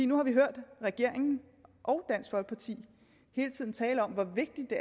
nu har vi hørt regeringen og dansk folkeparti hele tiden tale om hvor vigtigt